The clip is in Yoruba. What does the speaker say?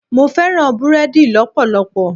Mo fẹ́ràn búrẹ́dì lọpọlọpọ.